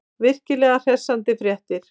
Virkilega hressandi fréttir.